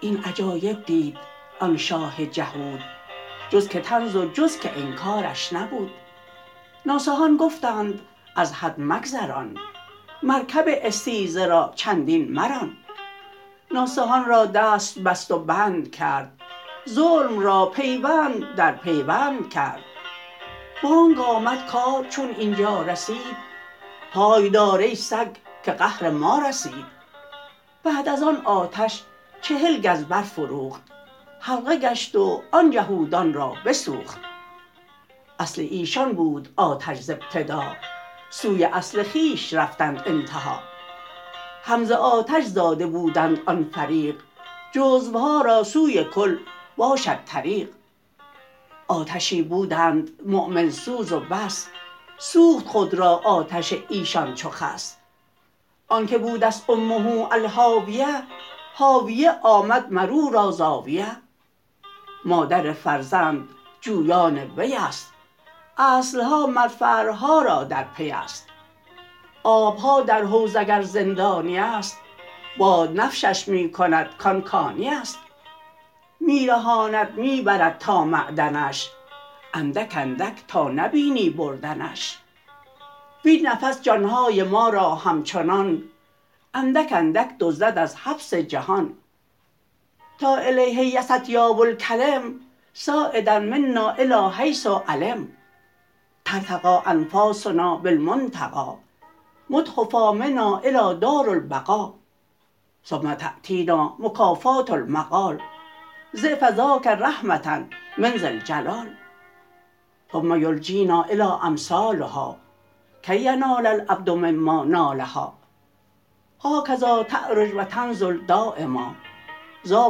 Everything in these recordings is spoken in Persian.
این عجایب دید آن شاه جهود جز که طنز و جز که انکارش نبود ناصحان گفتند از حد مگذران مرکب استیزه را چندین مران ناصحان را دست بست و بند کرد ظلم را پیوند در پیوند کرد بانگ آمد کار چون اینجا رسید پای دار ای سگ که قهر ما رسید بعد از آن آتش چهل گز بر فروخت حلقه گشت و آن جهودان را بسوخت اصل ایشان بود آتش ز ابتدا سوی اصل خویش رفتند انتها هم ز آتش زاده بودند آن فریق جزوها را سوی کل باشد طریق آتشی بودند مؤمن سوز و بس سوخت خود را آتش ایشان چو خس آنک بودست امه الهاویه هاویه آمد مرورا زاویه مادر فرزند جویان ویست اصلها مر فرعها را در پیست آبها در حوض اگر زندانیست باد نشفش می کند کارکانیست می رهاند می برد تا معدنش اندک اندک تا نبینی بردنش وین نفس جانهای ما را همچنان اندک اندک دزدد از حبس جهان تا الیه یصعد اطیاب الکلم صاعدا منا الی حیث علم ترتقی انفاسنا بالمنتقا محتفا منا الی دارالبقا ثم تأتینا مکافات المقال ضعف ذاک رحمة من ذی الجلال ثم یلجینا الی امثالها کی ینال العبد مما نالها هاکذا تعرج و تنزل دایما ذا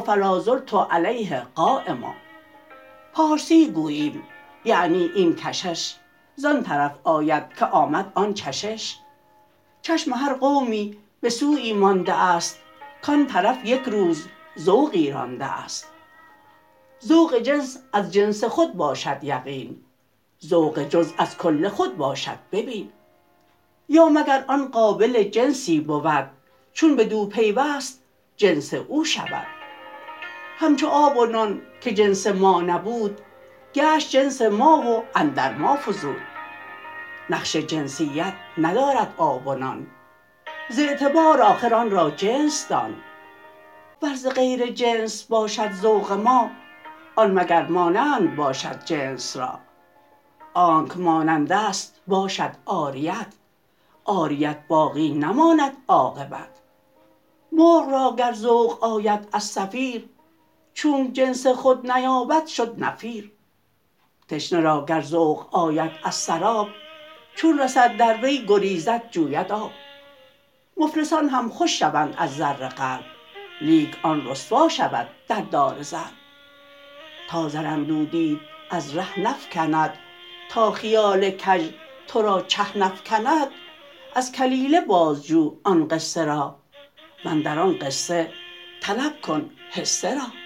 فلازلت علیه قایما پارسی گوییم یعنی این کشش زان طرف آید که آمد آن چشش چشم هر قومی به سویی مانده ست کان طرف یک روز ذوقی رانده ست ذوق جنس از جنس خود باشد یقین ذوق جزو از کل خود باشد ببین یا مگر آن قابل جنسی بود چون بدو پیوست جنس او شود همچو آب و نان که جنس ما نبود گشت جنس ما و اندر ما فزود نقش جنسیت ندارد آب و نان ز اعتبار آخر آن را جنس دان ور ز غیر جنس باشد ذوق ما آن مگر مانند باشد جنس را آنک مانندست باشد عاریت عاریت باقی نماند عاقبت مرغ را گر ذوق آید از صفیر چونک جنس خود نیابد شد نفیر تشنه را گر ذوق آید از سراب چون رسد در وی گریزد جوید آب مفلسان هم خوش شوند از زر قلب لیک آن رسوا شود در دار ضرب تا زر اندودیت از ره نفکند تا خیال کژ ترا چه نفکند از کلیله باز جو آن قصه را واندر آن قصه طلب کن حصه را